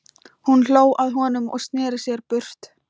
Hún hló að honum og sneri sér burt.